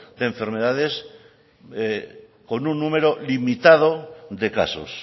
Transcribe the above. de enfermedades con un número limitado de casos